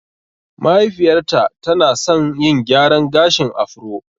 Mahaifiyar ta tana san yin gyran gashin afro